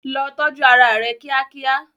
Lọ tọ́jú ara rẹ kíákíá.